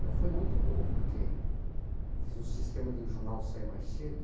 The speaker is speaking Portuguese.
Mas foi muito bom, porque fiz um sistema de o jornal sair mais cedo.